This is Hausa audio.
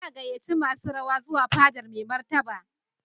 Za a gayyaci masu rawa zuwa fadar Mai Martaba.